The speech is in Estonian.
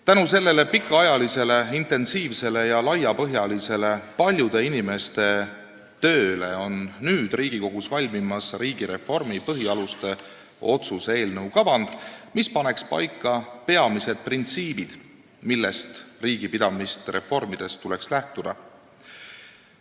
Tänu sellele paljude inimeste pikaajalisele, intensiivsele ja laiapõhjalisele tööle on nüüd Riigikogus valmimas riigireformi põhialuste otsuse eelnõu kavand, mis peab paika panema peamised printsiibid, millest riigi pidamist reformides tuleks lähtuda.